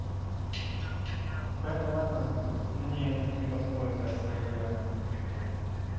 понятно нет это мне не подходит я свою я не хочу терять